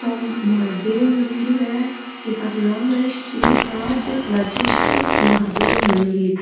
ओ महादेव मंदिर है जीका को नाम श्री राजेश्वर महादेव मंदिर।